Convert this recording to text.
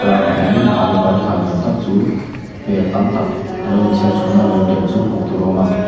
alu paratha ni awm tak chu per tam tak a lo inchherchhuana a lo inrem chu hmuh tur a awm a.